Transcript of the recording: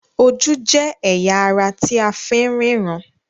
Ojú jé ẹya àrà tí àfín ríran